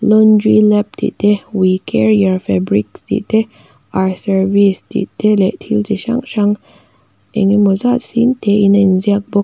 laundry lab tih te we care your fabrics tih te our service tih te leh thil ti hrang hrang engmaw zat sîn tê in a inziak bawk.